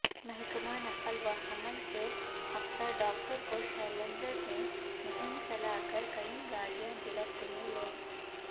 محکمہ نقل و حمل کے افسرڈاکٹر کوشلیندر نے مہم چلاکر کئی گاڑیاں گرفت میں لیں